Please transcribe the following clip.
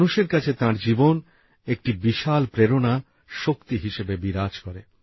মানুষের কাছে তাঁর জীবন একটি বিশাল প্রেরণা শক্তি হিসেবে বিরাজ করে